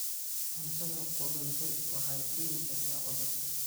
Cuntada qudhuntay waxay keeni kartaa cudur.